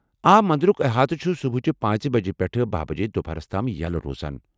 آ مندرُک احاطہٕ چُھ صبحٕچہ پانژھ بجہ پیٹھہٕ بَہہِ بجے دُپہر تام یلہٕ روزان